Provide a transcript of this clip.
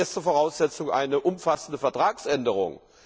als erste Voraussetzung eine umfassende Vertragsänderung.